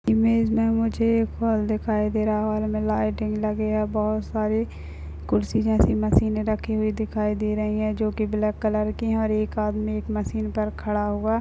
image में मुझे एक हॉल दिखाई दे रहा है लाइटिंग लगी है बहुत सारी कुर्सी जैसी मशीन रखी हुए दिखाई दे रही है जो कि ब्लैक कलर की है और एक आदमी एक मशीन पर खड़ा हुआ --